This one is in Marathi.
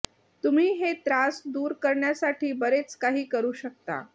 तुम्ही हे त्रास दूर करण्यासाठी बरेच काही करू शकता